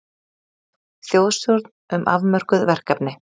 Þjóðstjórn um afmörkuð verkefni